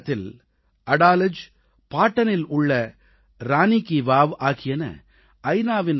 குஜராத்தில் அடாலஜ் பாடனில் உள்ள ரானீ கீ வாவ் ஆகியன ஐ